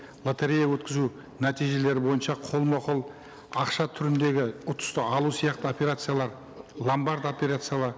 лотерея өткізу нәтижелері бойынша қолма қол ақша түріндегі ұтысты алу сияқты операциялар ломабард